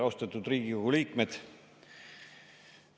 Austatud Riigikogu liikmed!